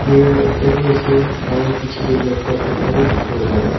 Mirror ekta bhi ase aro piche tey laptop ekta bhi dekhibo parey.